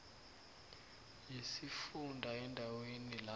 yesifunda endaweni la